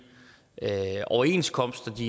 overenskomster de